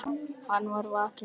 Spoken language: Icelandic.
Hann var vakinn snemma.